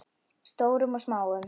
Stórum og smáum.